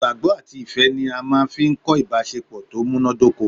Ìgbàgbọ́ àti ifẹ́ ni a máa n fi kọ́ ìbásepọ̀ tó múnádóko